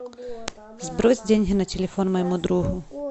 сбрось деньги на телефон моему другу